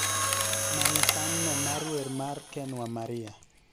Many san no mar wer mar ken wa maria